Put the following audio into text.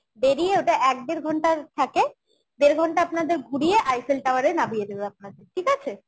বেরিয়ে ওটা এক দেড় ঘণ্টার থাকে দেড় ঘণ্টা আপনাদের ঘুরিয়ে Eiffel Tower এ নামিয়ে দেবে আপনাদের ঠিক আছে?